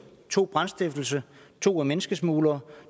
to brandstiftelse to er menneskesmuglere